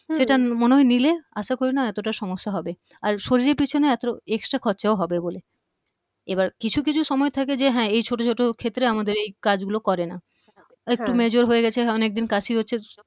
এটা মনে হয় নিলে আশা করিনা এতটা সমস্যা হবে আর শরীরের পিছনে এত extra খরচাও হবে বলে এবার কিছু কিছু সময় থাকে যে এই ছোট ছোট ক্ষেত্রে আমাদের এই কাজ গুলো করেনা একটু major হয়ে গেছে অনেক দিন কাশি হচ্ছে